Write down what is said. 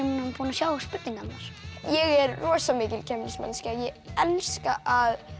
búinn að sjá spurningarnar ég er rosa mikil keppnismanneskja ég elska að